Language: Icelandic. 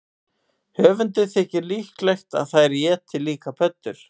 Höfundi þykir líklegt að þær éti líka pöddur.